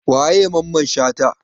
Wa ye Mamman shata?